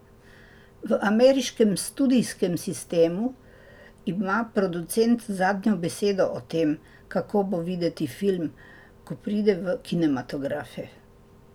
V ameriškem studijskem sistemu ima producent zadnjo besedo o tem, kako bo videti film, ko pride v kinematografe.